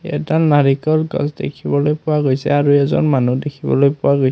এটা নাৰিকল গছ দেখিবলৈ পোৱা গৈছে আৰু এজন মানুহ দেখিবলৈ পোৱা গৈছে।